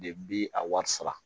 De bi a wari sara